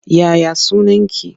Ya ya sunaki?